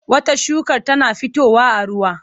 Wata shukar tana fitowa a ruwa.